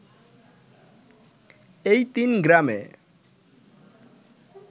এই তিন গ্রামে